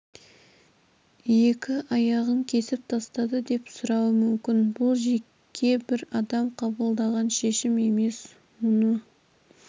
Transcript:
екі аяғын кесіп тастады деп сұрауы мүмкін бұл жеке бір адам қабылдаған шешім емес мұны